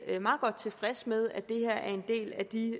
meget godt tilfreds med at det her er en del af de